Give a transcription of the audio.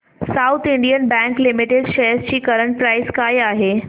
south Indian bank limited shares ची current price काय आहे